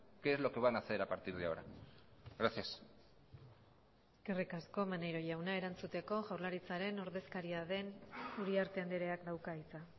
qué es lo que van a hacer a partir de ahora gracias eskerrik asko maneiro jauna erantzuteko jaurlaritzaren ordezkaria den uriarte andreak dauka hitza